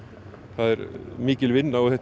það er mikil vinna og þetta